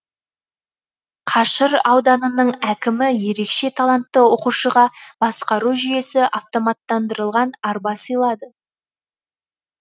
қашыр ауданының әкімі ерекше талантты оқушыға басқару жүйесі автоматтандырылған арба сыйлады